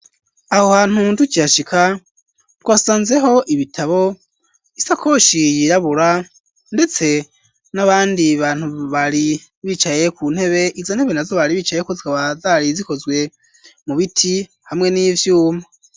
Aho hantu ntukiyashika twasanzeho ibitabo isakoshi yirabura ndetse n'abandi bantu bari bicaye ku ntebe iza ntebe nazo bari bicayeko zikaba zari zikozwe mu biti hamwe n'ivyuma.